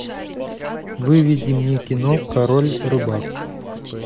выведи мне кино король рыбак